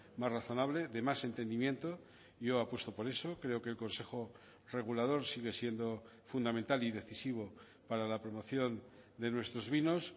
más razonable de más entendimiento yo apuesto por eso creo que el consejo regulador sigue siendo fundamental y decisivo para la promoción de nuestros vinos